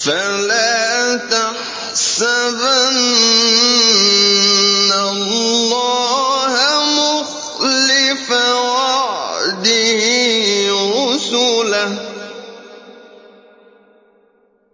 فَلَا تَحْسَبَنَّ اللَّهَ مُخْلِفَ وَعْدِهِ رُسُلَهُ ۗ